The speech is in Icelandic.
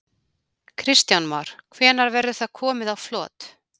Kristján Már: Hvenær verður það komið á flot?